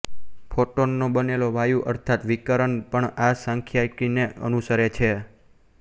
ફોટૉનનો બનેલો વાયુ અર્થાત વિકિરણ પણ આ સાંખ્યિકીને અનુસરે છે